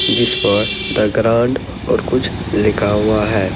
जिस पर the grand और कुछ लिखा हुआ है।